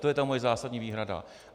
To je ta moje zásadní výhrada.